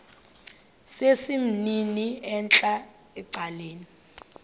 sesimnini entla ecaleni